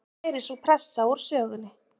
Nú væri sú pressa úr sögunni